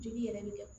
Jeli yɛrɛ bi kɛ